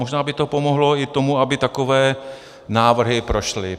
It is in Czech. Možná by to pomohlo i tomu, aby takové návrhy prošly.